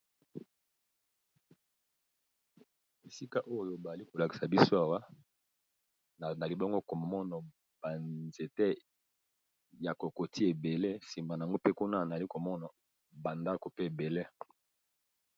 Esika oyo bali kolakisa biso awa nali bongo komona ba nzete ya kokoti ebele nsima nango mpe kuna nali komona ba ndako pe ebele.